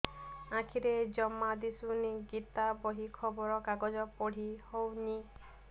ଆଖିରେ ଜମା ଦୁଶୁନି ଗୀତା ବହି ଖବର କାଗଜ ପଢି ହଉନି